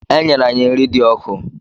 E nyere anyị nri dị ọkụ.